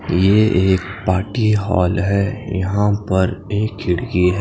ये एक party hall हैं यहाँ पर एक खिड़की--